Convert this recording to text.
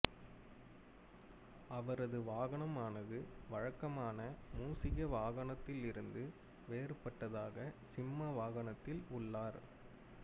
அவரது வாகனமானது வழக்கமான மூசிக வாகனத்திலிருந்து வேறுபட்டதாக சிம்ம வாகனத்தில் உள்ளார்